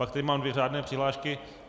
Pak tady mám dvě řádné přihlášky.